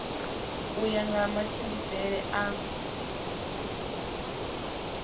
u ya nga matshimbidzele a